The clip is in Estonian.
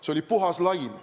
See oli puhas laim.